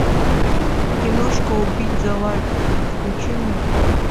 киношка убить за лайк включи мне